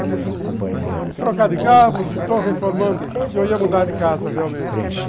É isso, trocar de carro, estou reformando e eu ia mudar de casa realmente.